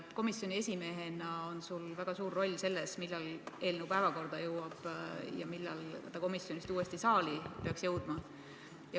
Komisjoni esimehena on sul väga suur roll selles, millal eelnõu päevakorda jõuab ja millal ta komisjonist uuesti saali peaks jõudma.